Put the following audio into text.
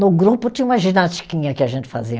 No grupo tinha uma ginastiquinha que a gente fazia.